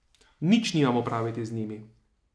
Nič nimam opraviti z njimi.